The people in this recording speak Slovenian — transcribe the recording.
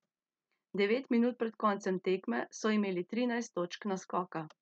Devet minut pred koncem tekme so imeli trinajst točk naskoka.